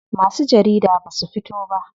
Masu jarida basu fito ba.